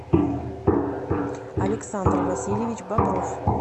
александр васильевич бобров